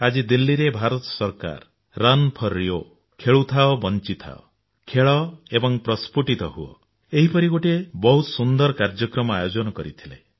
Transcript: ଆଜି ଦିଲ୍ଲୀରେ ଭାରତ ସରକାର ରନ୍ ଫର ରିଓ ଖେଳୁଥାଅ ବଞ୍ଚିଥାଅ ଖେଳ ଏବଂ ପ୍ରସ୍ଫୁଟିତ ହୁଅ ଏହିପରି ଗୋଟିଏ ବହୁତ ସୁନ୍ଦର କାର୍ଯ୍ୟକ୍ରମ ଆୟୋଜନ କରିଥିଲେ